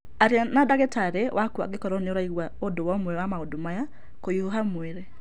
Aria na ndagĩtarĩ waku angĩkorũo nĩ ũraigua ũndũ o na ũmwe wa maũndu maya:kũhiũha mwĩrĩ.